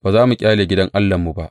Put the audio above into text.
Ba za mu ƙyale gidan Allahnmu ba.